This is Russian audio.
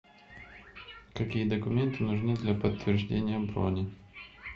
какие документы нужны для подтверждения брони